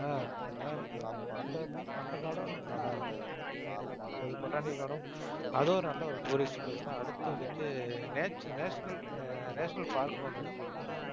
ஆஹ் அதான் ரம்யா அந்த அந்த garden உம் நல்லா தான் இருக்கும். அது botanical garden உம் அதுவும் நல்ல ஒரு tourist place தான். அடுத்து வந்துட்டு nation~ national national park ன்னு ஒண்ணு இருக்கு.